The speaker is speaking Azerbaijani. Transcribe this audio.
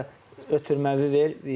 Ya da ötürməvi ver, yetər.